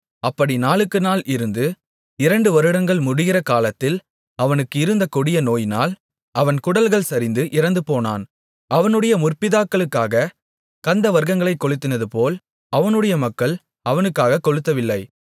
அப்படி நாளுக்குநாள் இருந்து இரண்டு வருடங்கள் முடிகிற காலத்தில் அவனுக்கு இருந்த கொடிய நோயினால் அவன் குடல்கள் சரிந்து இறந்துபோனான் அவனுடைய முற்பிதாக்களுக்காகக் கந்தவர்க்கங்களைக் கொளுத்தினதுபோல் அவனுடைய மக்கள் அவனுக்காகக் கொளுத்தவில்லை